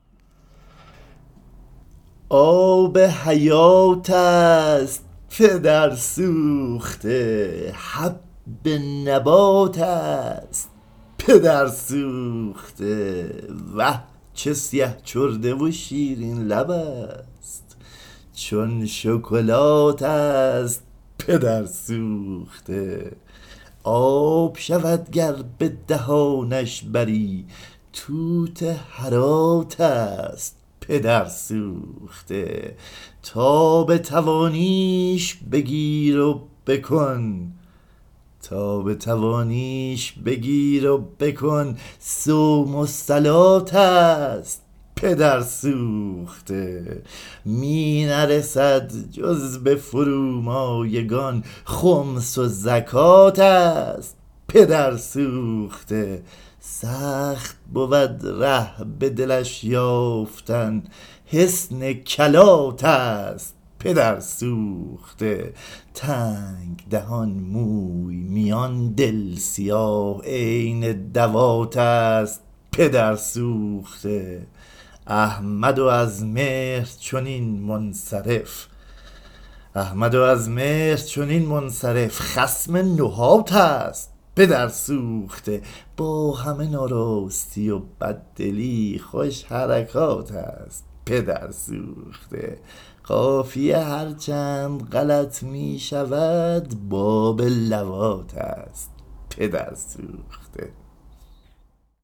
آب حیات است پدرسوخته حب نبات است پدرسوخته وه چه سیه چرده و شیرین لب است چون شکلات است پدرسوخته آب شود گر به دهانش بری توت هرات است پدرسوخته تا بتوانیش بگیر و بکن صوم و صلات است پدرسوخته می نرسد جز به فرومایگان خمس و زکات است پدرسوخته سخت بود ره به دلش یافتن حصن کلات است پدرسوخته تنگ دهان موی میان دل سیاه عین دوات است پدرسوخته احمد و از مهر چنین منصرف خصم نحات است پدرسوخته با همه ناراستی و بددلی خوش حرکات است پدرسوخته قافیه هرچند غلط می شود باب لواط است پدرسوخته